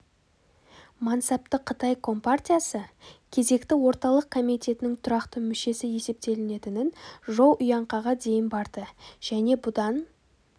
мансапты қытай компартиясы кезекті орталық комитетінің тұрақты мүшесі есептелінетін жоу иұңкаңға дейін барды және бұдан